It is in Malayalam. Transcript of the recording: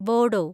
ബോഡോ